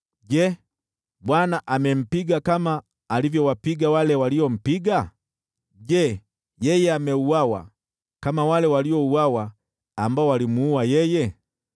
Je, Bwana amempiga vile alivyowapiga wale waliompiga? Je, yeye ameuawa vile walivyouawa wale waliomuua yeye?